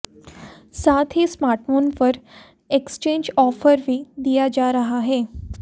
साथ ही स्मार्टफोन पर एक्सचेंज ऑफर भी दिया जा रहा है